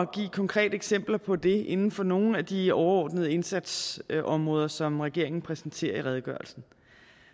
at give konkrete eksempler på det inden for nogle af de overordnede indsatsområder som regeringen præsenterer i redegørelsen